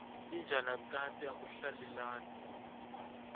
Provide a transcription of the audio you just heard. inja nakati akuhlalelani